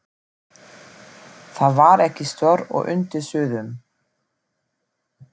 Það var ekki stórt og undir súðum.